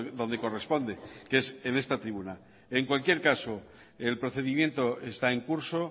donde corresponde que es en esta tribuna en cualquier caso el procedimiento está en curso